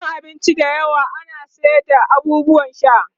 a gidan abinci da yawa ana sayar da abubuwan sha